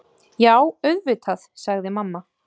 Já, auðvitað, sagði mamma.